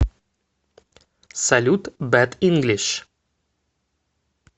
салют бэд инглиш